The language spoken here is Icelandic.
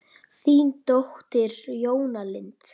Þín dóttir, Jóna Lind.